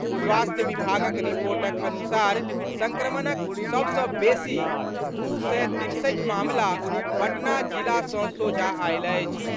स्वास्थ्य विभागक रिपोर्टक अनुसार संक्रमणक सभ सँ बेसी दू सय तिरसठि मामिला पटना जिला सँ सोझा आएल अछि।